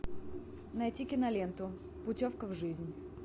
найти киноленту путевка в жизнь